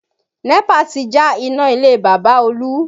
NEPA ti já iná ilé Bàbá Olú